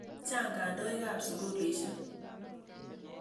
Chang' kandoik ap sukulisyek.